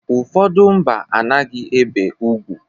Ụfọdụ mba a naghị ebe ugwu.